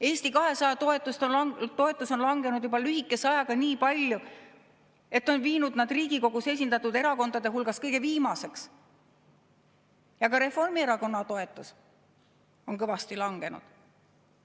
Eesti 200 toetus on langenud lühikese ajaga juba nii palju, et see on viinud nad Riigikogus esindatud erakondade hulgas kõige viimaseks, ja ka Reformierakonna toetus on kõvasti langenud.